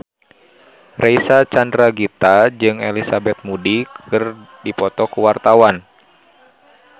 Reysa Chandragitta jeung Elizabeth Moody keur dipoto ku wartawan